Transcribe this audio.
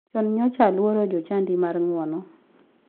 Chon nyocha aluoro jochadi mar ng'wono.